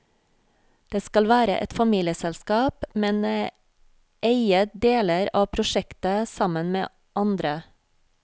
Vi skal være et familieselskap, men eie deler av prosjekter sammen med andre.